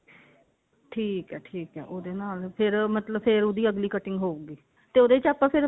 ਠੀਕ ਹੈ ਠੀਕ ਹੈ ਉਹਦੇ ਨਾਲ ਫੇਰ ਮਤਲਬ ਫੇਰ ਉਹਦੀ ਅਗਲੀ cutting ਹੋਉਗੀ ਤੇ ਉਹਦੇ ਚ ਆਪਾਂ ਫੇਰ